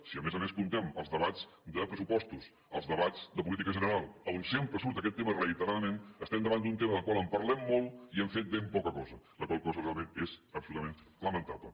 si a més a més comptem els debats de pressupostos els debats de política general on sempre surt aquest tema reiteradament estem davant d’un tema del qual parlem molt i hem fet ben poca cosa la qual cosa realment és absolutament lamentable